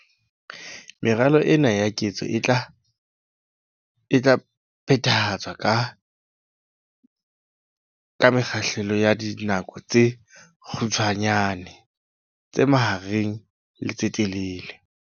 Meralo ena ya ketso e tla phethahatswa ka mekgahlelo ya dinako tse kgutshwanyane, tse mahareng le tse telele.